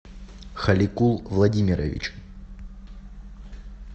халикул владимирович